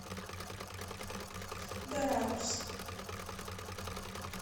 дорадус